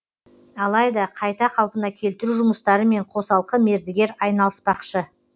алайда қайта қалпына келтіру жұмыстарымен қосалқы мердігер айналыспақшы